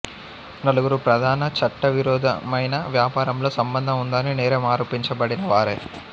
నలుగురు ప్రధాన చట్టవిరోధమైన వ్యాపారంలో సంబంధం ఉందని నేరం అరోపించబడిన వారే